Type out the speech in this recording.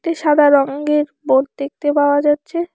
একটি সাদা রঙ্গের বোর্ড দেখতে পাওয়া যাচ্ছে।